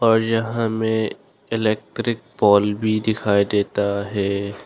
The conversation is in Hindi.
और यहां में इलेक्ट्रिक पोल भी दिखाई देता है।